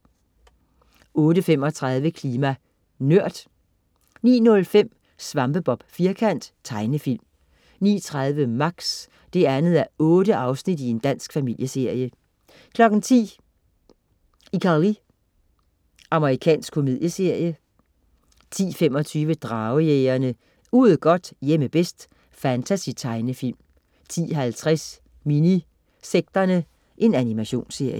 08.35 Klima NØRD 09.05 Svampebob Firkant. Tegnefilm 09.30 Max 2:8. Dansk familieserie 10.00 ICarly. Amerikansk komedieserie 10.25 Dragejægerne. Ude godt, hjemme bedst. Fantasy-tegnefilm 10.50 Minisekterne. Animationsserie